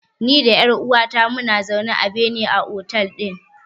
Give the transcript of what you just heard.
Ni da ƴar uwata muna zaune a bene a otel ɗin.